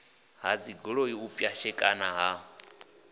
ha dzigoloi u pwashekana ha